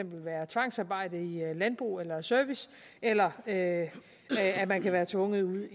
være tvangsarbejde i landbrug eller service eller at man kan være tvunget ud